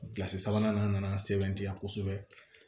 Kilasi sabanan na na sɛbɛn tiya kosɛbɛ